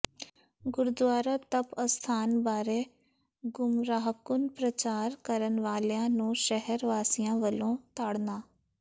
ਗੁਰਦੁਆਰਾ ਤਪ ਅਸਥਾਨ ਬਾਰੇ ਗੁੰਮਰਾਹਕੁੰਨ ਪ੍ਰਚਾਰ ਕਰਨ ਵਾਲਿਆਂ ਨੂੰ ਸ਼ਹਿਰ ਵਾਸੀਆਂ ਵੱਲੋਂ ਤਾੜਨਾ